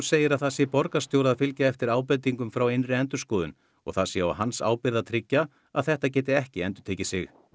segir það sé borgarstjóra að fylgja eftir ábendingum frá innri endurskoðun og það sé á hans ábyrgð að tryggja að þetta geti ekki endurtekið sig